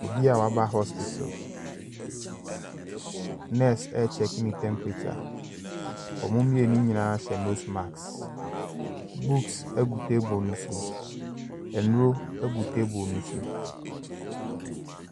Obi a waba hospital. Nurse rechecke ne temperature. Wɔn mmienu nyinaa hyɛ nose mask. Books gu table no so. Nnuro gu table no so.